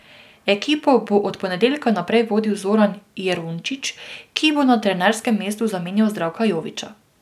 Ekipo bo od ponedeljka naprej vodil Zoran Jerončič, ki bo na trenerskem mestu zamenjal Zdravka Joviča.